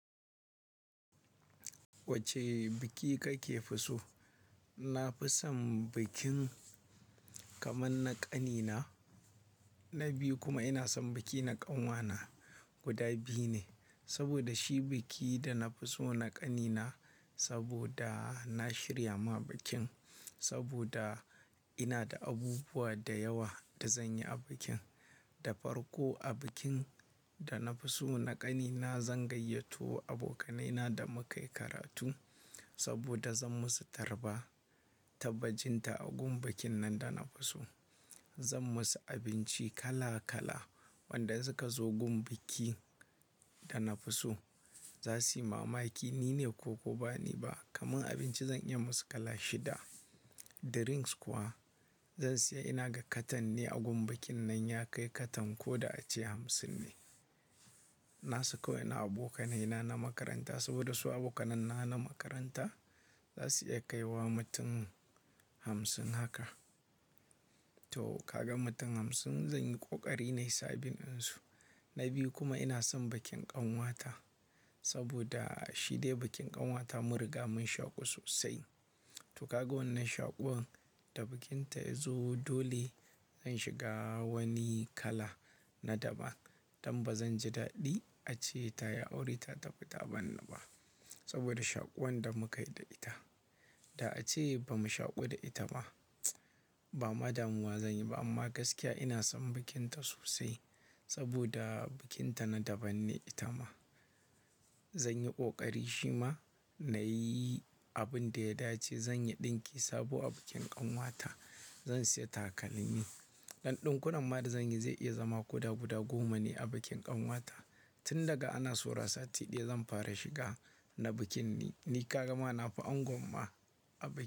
Wane biki kake fi so? Na fi son bikin kamar na ƙanina. Na biyu kuma ina son biki na ƙanwata guda biyu ne. Saboda shi biki da na fi so na ƙanina. Saboda na shirya wa bikin, saboda ina da abubuwa da yawa da zan yi a bikin. Da farko a bikin da na fi so na ƙanina zan gayyato abokaina da muka yi karatu. Saboda zan musu tarba tabbacin ta a gun bikin nan da na fi so. Zan musu abinci kala kala. Waɗanda suka zo wurin biki da na fi so za su yi mamaki nine ko ko ba nine ba. Kamar abinci zan iya yi musu kala shida. Drinks kuwa zan sayi ina gani katan ne a wurin bikin nan ya kai katan ko da a ce hamsin ne. Na saka wasu abokaina na makaranta saboda su abokaina na makaranta za su iya kai wa mutum hamsin haka. To kaga mutum hamsin zan yi ƙoƙari na yi sabin dinsu. Na biyu kuma ina son bikin ƙanwata saboda shi dai bikin ƙanwata mun riga mun shaƙu sosai. To ka ga wannan shaƙuwar, idan bikinta ya zo dole zan shiga wani yanayi na daban. Don ba zan ji daɗi a ce ta yi aure ta tafi ta barni ba saboda shaƙuwar da muka yi da ita. Da a ace ba mu shaƙu da ita ba. Ba zan ma damu ba amma gaskiya ina son bikinta sosai saboda bikinta na daban ne ita ma. Zan yi ƙoƙari shima na yi abin da ya dace. Zan yi ɗinki sabo a bikin ƙanwata. Zan sayi takalmi. Ɗan ɗinkunan ma da zan yi zai iya zama koda guda goma ne a bikin ƙanwata. Tun daga ana saura sati ɗaya zan fara shiga na bikin ne. Ni ka ga ma na fi angon ma.